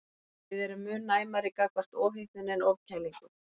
Við erum mun næmari gagnvart ofhitnun en ofkælingu.